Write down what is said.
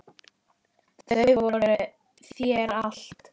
Þau voru þér allt.